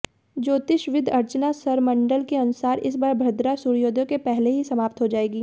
ज्योतिषविद् अर्चना सरमंडल के अनुसार इस बार भद्रा सूर्योदय के पहले ही समाप्त हो जाएगी